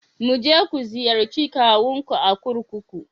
Mu je ku ziyarci kawunku a kurkuku.